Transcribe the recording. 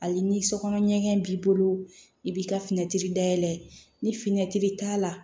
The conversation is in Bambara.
Hali ni sokɔnɔ ɲɛgɛn b'i bolo i b'i ka fini tiri dayɛlɛ ni fini t'a la